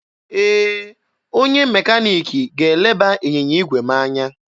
Ee, onye mekaniki ga-eleba ịnyịnya igwe m anya.